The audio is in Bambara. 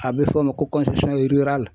A bɛ fɔ o ma ko